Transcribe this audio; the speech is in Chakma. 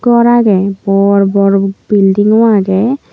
gor agey borbor building o agey.